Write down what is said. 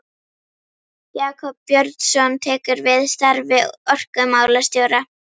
Jakob Björnsson tekur við starfi orkumálastjóra.